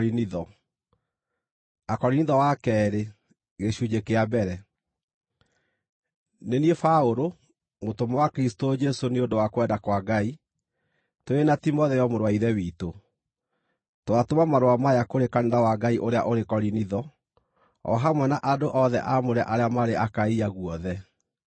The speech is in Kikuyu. Nĩ niĩ Paũlũ, mũtũmwo wa Kristũ Jesũ nĩ ũndũ wa kwenda kwa Ngai, tũrĩ na Timotheo mũrũ wa Ithe witũ, Twatũma marũa maya kũrĩ kanitha wa Ngai ũrĩa ũrĩ Korinitho, o hamwe na andũ othe aamũre arĩa marĩ Akaia guothe: